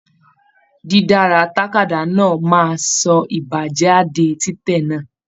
Didara tàkádá náà máa sọ ibájáde titẹ̀ náà.